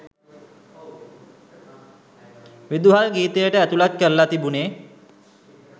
විදුහල් ගීතයට ඇතුළත් කරල තිබුනෙ